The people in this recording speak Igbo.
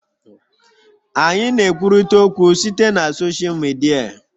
Anyị na-ekwurịta okwu site na soshal Midia